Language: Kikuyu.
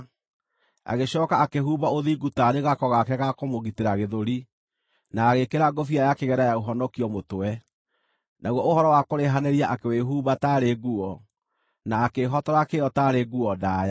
Agĩcooka akĩĩhumba ũthingu taarĩ gako gake ga kũmũgitĩra gĩthũri, na agĩĩkĩra ngũbia ya kĩgera ya ũhonokio mũtwe; naguo ũhoro wa kũrĩhanĩria akĩwĩĩhumba taarĩ nguo, na akĩĩhotora kĩyo taarĩ nguo ndaaya.